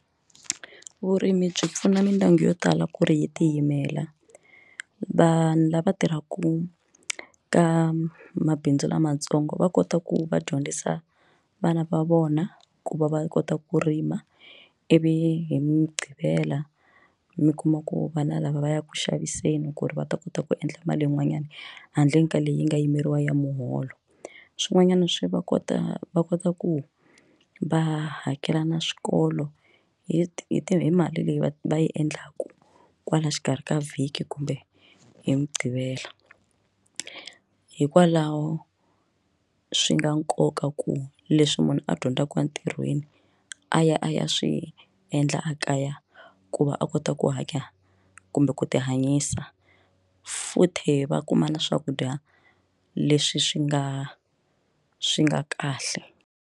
Vurimi byi pfuna mindyangu yo tala ku ri hi tiyimela vanhu lava tirhaka ka mabindzu lamatsongo va kota ku va dyondzisa vana va vona ku va va kota ku rima ivi hi mugqivela mi kuma ku vana lava va yaka xaviseni ku ri va ta kota ku endla mali yin'wanyana handle ka leyi nga yimeriwa ya muholo swin'wanyana swi va kota va kota ku va hakela na swikolo hi hi ti hi mali leyi va va yi endlaku kwala xikarhi ka vhiki kumbe hi mugqivela hikwalaho swi na nkoka ku leswi munhu a dyondzaka entirhweni a ya a ya swi endla a kaya ku va a kota ku hanya kumbe ku ti hanyisa futhi va kuma na swakudya leswi swi nga swi nga kahle.